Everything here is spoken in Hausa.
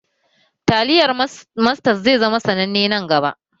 Taliyar Mastas zai zama sananne nan gaba